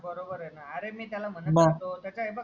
बरोबर ए ना अरे मी त्याला म्हणत होतो त्याचा हे बघ